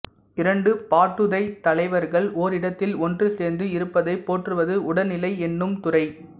இரண்டு பாட்டுடைத் தலைவர்கள் ஓரிடத்தில் ஒன்றுசேர்ந்து இருப்பதைப் போற்றுவது உடனிலை என்னும் துறை